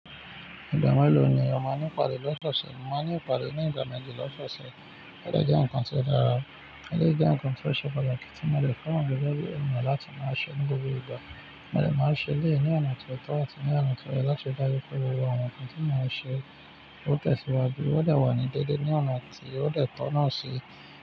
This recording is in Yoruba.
Ìgba mélòó ni o maa n ni ìpade lọsọọsẹ? Mo maa n ni ìpade ní ìgbà méjì lọsọọsẹ. Ó jẹ́ ǹkan tó dára. Eléyìí jẹ́ ǹkan tó ṣe pàtàkì tí mo dè feran gege bí ènìyàn láti máa ṣe ní gbogbo ìgbà. Mo de máa ṣe éleyi ní ọ̀nà tó tọ́ àti ní ọ̀nà tó yẹ láti dájú pé gbogbo àwọn nǹkan tí mo máa ṣe ó tẹ̀síwájú ó dè wà ní déédé ní ọ̀nà tí ó dè tọ́ náà síi.